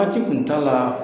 Waati kun t'a la